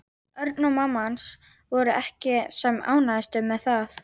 Örn og mamma hans voru ekki sem ánægðust með það.